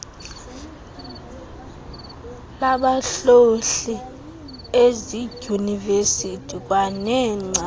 labahlohli ezidyunivesiti kwaneengcali